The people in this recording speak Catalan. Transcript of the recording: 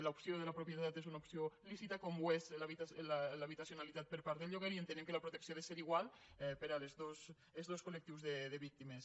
l’opció de la propietat és una opció lícita com ho és l’habitacionalitat per part del lloguer i entenem que la protecció ha de ser igual per als dos col·lectius de víctimes